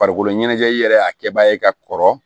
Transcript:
Farikolo ɲɛnajɛli yɛrɛ a kɛba ye ka kɔrɔ